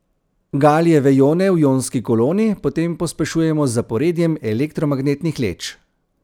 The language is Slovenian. Galijeve ione v ionski koloni potem pospešujemo z zaporedjem elektromagnetnih leč.